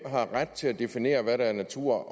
har ret til at definere hvad der er natur